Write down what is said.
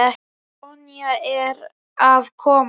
Sonja er að koma.